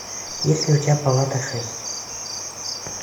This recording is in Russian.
есть ли у тебя палата шесть